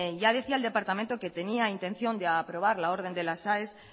ya decía el departamento que tenía intención de aprobar la orden de las aes